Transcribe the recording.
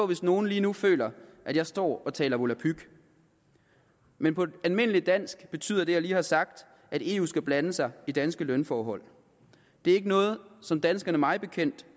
hvis nogle lige nu føler at jeg står og taler volapyk men på almindeligt dansk betyder det jeg lige har sagt at eu skal blande sig i danske lønforhold det er ikke noget som danskerne mig bekendt